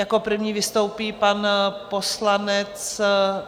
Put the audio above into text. Jako první vystoupí pan poslanec...